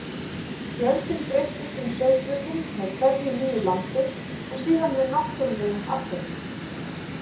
Fjöldinn breytist um sauðburðinn með hverju nýju lambi og síðan með náttúrulegum afföllum.